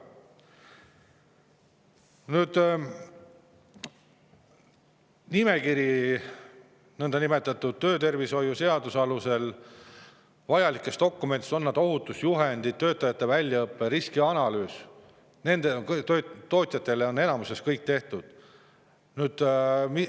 Nõndanimetatud töötervishoiu seaduse alusel vajalikud dokumendid, on need ohutusjuhendid, töötajate väljaõppe või riskianalüüs, on tootjatel enamuses kõik tehtud.